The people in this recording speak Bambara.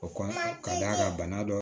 O kɔni ka d'a ka bana dɔ